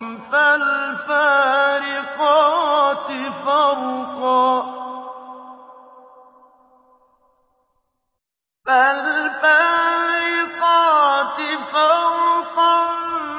فَالْفَارِقَاتِ فَرْقًا